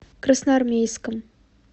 красноармейском